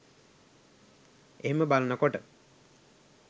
එහෙම බලන කොට